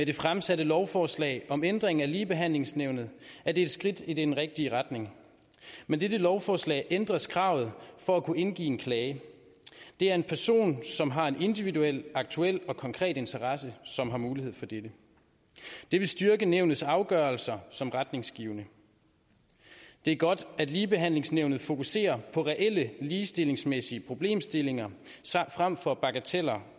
det fremsatte lovforslag om ændring af ligebehandlingsnævnet er et skridt i den rigtige retning med dette lovforslag ændres kravet for at kunne indgive en klage det er en person som har en individuel aktuel og konkret interesse som har mulighed for dette det vil styrke nævnets afgørelser som retningsgivende det er godt at ligebehandlingsnævnet fokuserer på reelle ligestillingsmæssige problemstillinger frem for bagateller